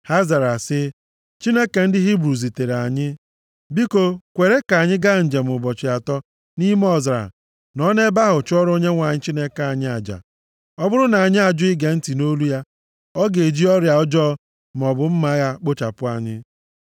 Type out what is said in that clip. Ha zara sị, “Chineke ndị Hibru zutere anyị. Biko kwere ka anyị gaa njem ụbọchị atọ + 5:3 Nʼala Ijipt ehi na oke ehi bụ anụmanụ a na-ahụta ka ihe dị nsọ. Ya mere, ndị Izrel ji sị na ha ga-aga njem abalị atọ nʼime ọzara nọrọ nʼebe ahụ chụọrọ Onyenwe anyị aja. nʼime ọzara nọọ nʼebe ahụ chụọrọ Onyenwe anyị Chineke anyị aja. Ọ bụrụ na anyị ajụ ige ntị nʼolu ya, ọ ga-eji ọrịa ọjọọ maọbụ mma agha kpochapụ anyị.”